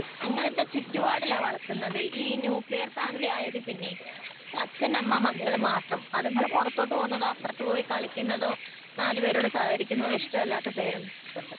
അങ്ങിനത്തെ ചുറ്റുപാടിലാ വളർത്തുന്നത് ഈ ന്യൂക്ലീയർ ഫാമിലി ആയതിൽ പിന്നെ അച്ഛൻ അമ്മ മക്കള് മാത്രം അതുങ്ങള് പുറത്തോട്ട് പോകുന്നതോ അപ്പുറത്ത് പോയി കളിക്കുന്നതൊ നാലുപേരോട് സഹകരിക്കുന്നതോ ഇഷ്ടമല്ലാത്ത പേരൻസുണ്ട്